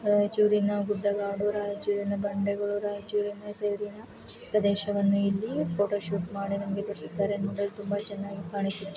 ರಾಯಚೂರಿನ ಗುಡ್ಡಕಾಡು ರಾಯಚೂರಿನ ಬಂಡೆಗಳು ರಾಯಚೂರಿನ ಸೈಡ್ ಪ್ರದೇಶವನ್ನ ಇಲ್ಲಿ ಪೋಟೋ ಶೂಟ್‌ ಮಾಡಿದಂಗೆ ತೋರಿಸಿದ್ದಾರೆ ಇದು ನೋಡಲು ತುಂಬಾ ಚೆನ್ನಾಗಿ ಕಾಣುತ್ತಿದೆ.